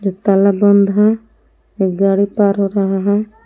ताला बंद है एक गाड़ी पार हो रहा है।